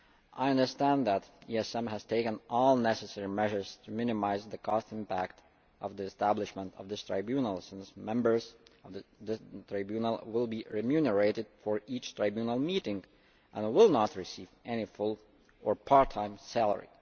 I understand that the ESM has taken all necessary measures to minimise the cost impact of the establishment of this tribunal, since members of the Tribunal will be remunerated for each tribunal meeting and will not receive any full or part time salary.